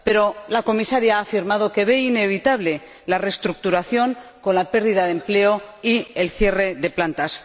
Pero la Comisaria ha afirmado que ve inevitable la reestructuración, con la pérdida de empleo y el cierre de plantas.